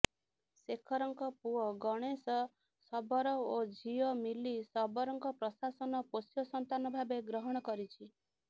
ଶେଖରଙ୍କ ପୁଅ ଗଣେଶ ଶବର ଓ ଝିଅ ମିଲି ଶବରଙ୍କ ପ୍ରଶାସନ ପୋଷ୍ୟ ସନ୍ତାନ ଭାବେ ଗ୍ରହଣ କରିଛି